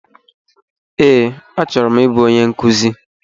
Ee, achọrọ m ị bụ onye nkuzi.